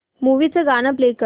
movie चं गाणं play कर